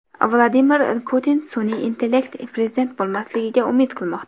Vladimir Putin sun’iy intellekt prezident bo‘lmasligiga umid qilmoqda.